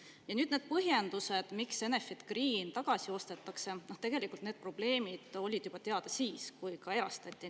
Ja nüüd need põhjendused, miks Enefit Green tagasi ostetakse – no tegelikult olid need probleemid teada juba siis, kui ta erastati.